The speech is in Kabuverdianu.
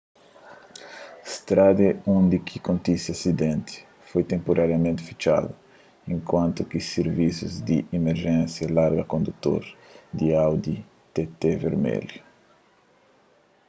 strada undi ki kontise asidenti foi tenpurariamenti fitxadu enkuantu ki sirvisus di imerjénsia larga kondutor di audi tt vermelhu